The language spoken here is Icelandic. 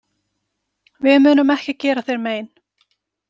Við munum ekki gera þér mein.